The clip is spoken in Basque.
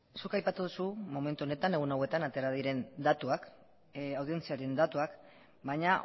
zuk aipatu duzu momentu honetan egun hauetan atera diren datuak audientziaren datuak baina